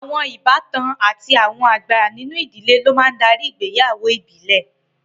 Àwọn ìbátan àti àwọn àgbà nínú ìdíléb lo máa ńdari ìgbéyàwó ìbílẹ̀